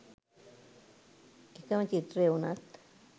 එක ම චිත්‍රය වුණත්